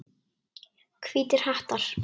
Hvítir hattar.